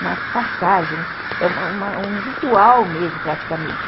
uma passagem, é uma uma um ritual mesmo, praticamente.